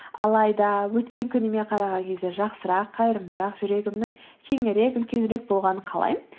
алайда өткен күніме қараған кезде жақсырақ қайырымдырақ жүрегімнің кеңірек үлкенірек болғанын қалаймын